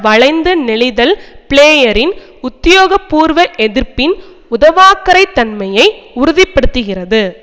வளைந்து நெளிதல் பிளேயரின் உத்தியோகபூர்வ எதிர்ப்பின் உதவாக்கரைத் தன்மையை உறுதி படுத்துகிறது